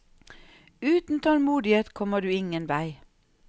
Uten tålmodighet kommer du ingen vei.